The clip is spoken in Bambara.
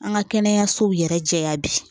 An ka kɛnɛyasow yɛrɛ jɛya bi